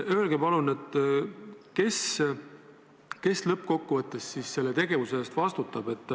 Öelge palun, kes lõppkokkuvõttes selle tegevuse eest vastutab.